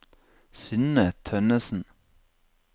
Synne Tønnessen